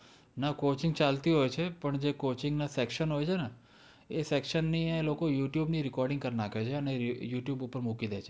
ના, coaching ચાલતી હોય છે. પણ જે coaching ના section હોય છે ને એ section ની એ લોકો youtube ની recording કર નાખે છે અને youtube ઉપર મૂકી દે છે.